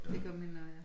Det gør mine også ja